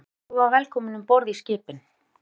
Almenningur var velkomin um borð í skipin.